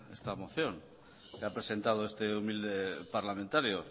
esta moción que ha presentado este humilde parlamentario